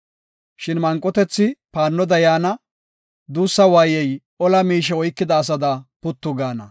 Shin manqotethi paannoda yaana; duussa waayey ola miishe oykida asada puttu gaana.